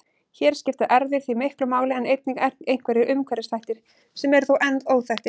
Hér skipta erfðir því miklu máli en einnig einhverjir umhverfisþættir sem eru þó enn óþekktir.